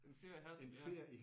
En fjer i hatten ja